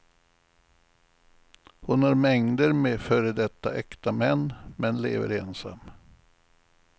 Hon har mängder med före detta äkta män, men lever ensam.